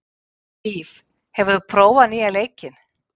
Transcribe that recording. Víf, hefur þú prófað nýja leikinn?